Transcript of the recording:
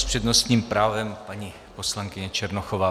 S přednostním právem paní poslankyně Černochová.